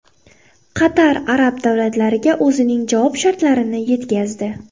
Qatar arab davlatlariga o‘zining javob shartlarini yetkazdi.